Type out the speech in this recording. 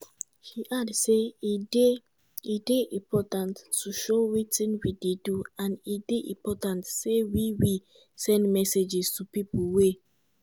she add say e dey "e dey important to show wetin we dey do and e dey important say we we send messages to pipo wey